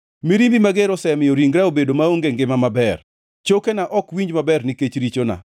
Mirimbi mager osemiyo ringra obedo maonge ngima maber; chokena ok winj maber nikech richona.